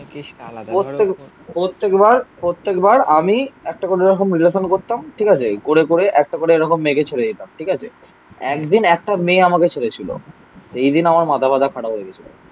প্রত্যেকবার প্রত্যেকবার আমি একটা কোনো রকম রিলেশান করতাম. ঠিক আছে. এই করে করে একটা করে এরকম মেঘে চলে যেতাম. ঠিক আছে. একদিন একটা মেয়ে আমাকে ছেড়ে ছিল. এই দিন আমার মাথা ফাতা খারাপ হয়ে গেছিল.